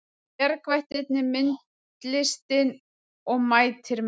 Bjargvættirnir myndlistin og mætir menn